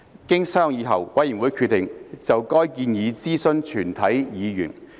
經商議後，委員會決定就該建議諮詢全體議員。